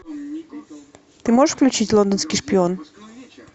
ты можешь включить лондонский шпион